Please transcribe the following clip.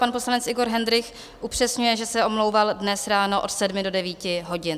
Pan poslanec Igor Hendrych upřesňuje, že se omlouval dnes ráno od sedmi do devíti hodin.